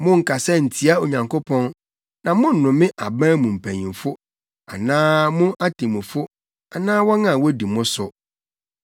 “Monnkasa ntia Onyankopɔn na monnome aban mu mpanyimfo anaa mo atemmufo anaa wɔn a wodi mo so.